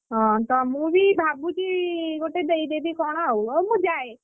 ହଁ ତ ମୁଁ ବି ଭାବୁଛି ଗୋଟେ ଦେଇଦେବି କଣ ଆଉ ହଉ ମୁଁ ଯାଏ